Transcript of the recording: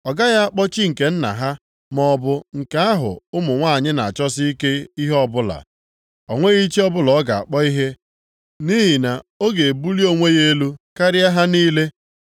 Ọ gaghị akpọ chi nke nna ha maọbụ nke ahụ ụmụ nwanyị na-achọsi ike ihe ọbụla, o nweghị chi ọbụla ọ ga-akpọ ihe nʼihi na ọ ga-ebuli onwe ya elu karịa ha niile.